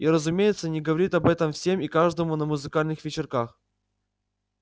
и разумеется не говорит об этом всем и каждому на музыкальных вечерах